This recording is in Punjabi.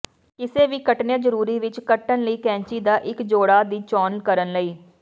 ਕਿਸੇ ਵੀ ਕੱਟਣੇ ਜ਼ਰੂਰੀ ਵਿੱਚ ਕੱਟਣ ਲਈ ਕੈਚੀ ਦਾ ਇੱਕ ਜੋੜਾ ਦੀ ਚੋਣ ਕਰਨ ਲਈ